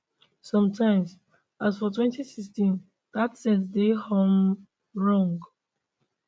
sometimes as for 2016 dat sense dey um wrong